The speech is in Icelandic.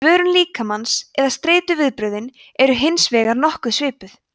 svörun líkamans eða streituviðbrögðin eru hins vegar nokkuð svipuð